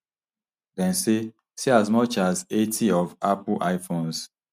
dem say say as much as eighty of apple iphones